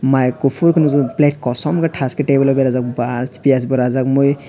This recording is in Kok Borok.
mai kuphur khe nukjak plate kosom thas khe table o berajak bash piyaz bo rajak mui.